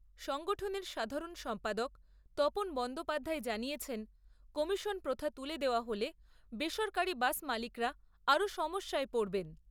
সংগঠনের সাধারণ সম্পাদক তপন বন্দ্যোপাধ্যায় জানিয়েছেন কমিশন প্রথা তুলে দেওয়া হলে বেসরকারি বাস মালিকরা আরও সমস্যায় পড়বেন।